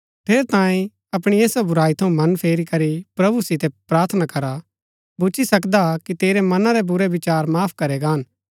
ठेरैतांये अपणी ऐसा बुराई थऊँ मन फेरी करी प्रभु सितै प्रार्थना कर भूच्ची सकदा कि तेरै मना रै बुरै विचार माफ करै गान